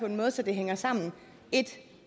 en måde så det hænger sammen et